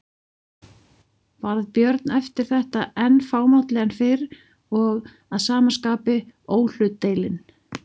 Varð Björn eftir þetta enn fámálli en fyrr og að sama skapi óhlutdeilinn.